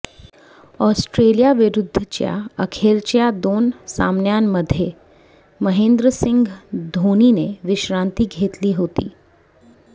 Australia विरुद्धच्या अखेरच्या दोन सामन्यांमध्ये महेंद्रसिंग धोनीने विश्रांती घेतली होती